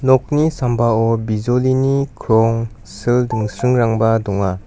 nokni sambao bijolini krong sil dingsringrangba donga.